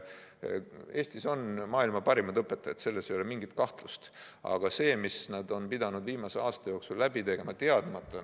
Eestis on maailma parimad õpetajad, selles ei ole mingit kahtlust, aga see, mis nad on pidanud viimase aasta jooksul läbi elama ...